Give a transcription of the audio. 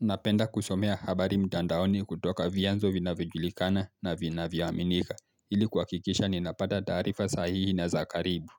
Napenda kusomea habari mtandaoni kutoka vianzo vina vijulikana na vina vya waminika ili kuhakikisha ninapata taarifa sahihi na zakaribu